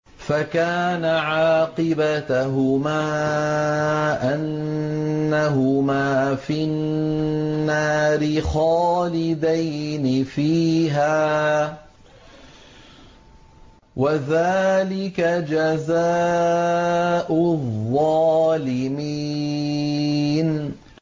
فَكَانَ عَاقِبَتَهُمَا أَنَّهُمَا فِي النَّارِ خَالِدَيْنِ فِيهَا ۚ وَذَٰلِكَ جَزَاءُ الظَّالِمِينَ